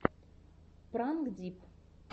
пранк дип